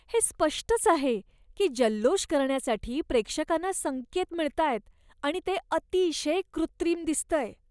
हे स्पष्टच आहे की जल्लोष करण्यासाठी प्रेक्षकांना संकेत मिळतायत आणि ते अतिशय कृत्रिम दिसतंय.